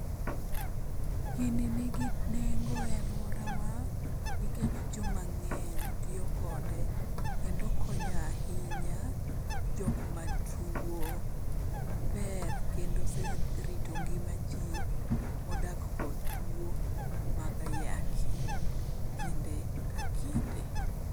Gini nigi nengo e alworawa nikech jomang'eny tiyo kode, kendo konyoe ahinya jok matuo, ober kendo oserito ngima jii modak kod tuo mag ayaki kinde ka kinde